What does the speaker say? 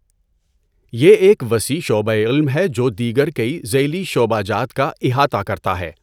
یہ ایک وسیع شعبۂ علم ہے جو دیگر کئی ذیلی شعبہ جات کا احاطہ کرتا ہے۔